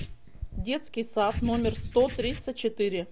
детский сад номер сто тридцать четыре